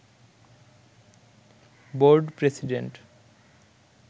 board president